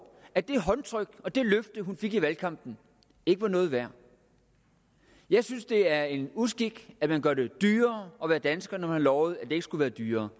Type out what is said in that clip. at det håndtryk og det løfte hun fik i valgkampen ikke var noget værd jeg synes det er en uskik at man gør det dyrere at være dansker når man har lovet at det ikke skulle være dyrere